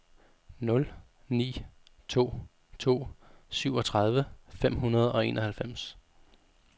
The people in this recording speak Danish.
nul ni to to syvogtredive fem hundrede og enoghalvfems